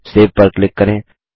save पर click करें